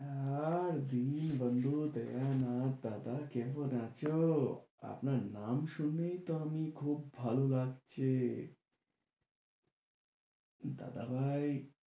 এ্যা জিনিস বন্ধু তেরা নাম দাদা কেমন আছো? আপনার নাম শুনেই তো আমি খুব ভালো লাগছে, দাদা ভাই।